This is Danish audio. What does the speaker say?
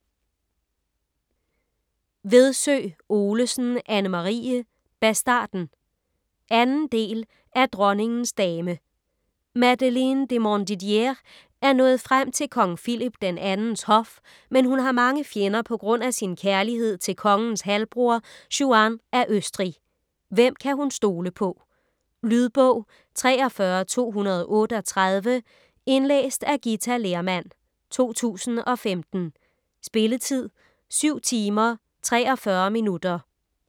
Vedsø Olesen, Anne-Marie: Bastarden 2. del af Dronningens dame. Madeleine de Montdidier er nået frem til kong Philip II's hof, men hun har mange fjender på grund af sin kærlighed til kongens halvbror Juan af Østrig. Hvem kan hun stole på? . Lydbog 43238 Indlæst af Githa Lehrmann, 2015. Spilletid: 7 timer, 43 minutter.